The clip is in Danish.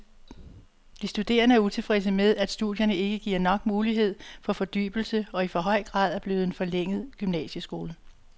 De studerende er utilfredse med, at studierne ikke giver nok mulighed for fordybelse og i for høj grad er blevet en forlænget gymnasieskole.